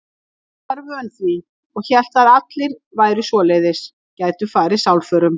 Hún var vön því og hélt að allir væru svoleiðis, gætu farið sálförum.